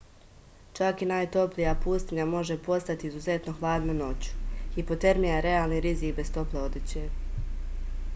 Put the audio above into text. čak i najtoplija pustinja može postati izuzetno hladna noću hipotermija je realni rizik bez tople odeće